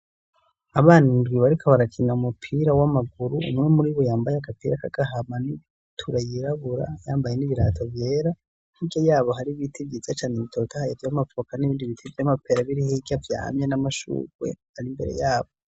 Abana indwi bariko barakina umupira w'amaguru, umwe muri bo yambaye agapira k'agahama n'ibutura yirabura yambaye n'ibirato vyera, hirya yabo hari ibiti vyiza cane bitotahaye vy'amavoka n'ibindi biti vy'amapera biri hirya vyamye n'amashurwe ari imbere yabo.